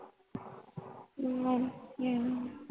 ਵਦੀਆਂ ਆ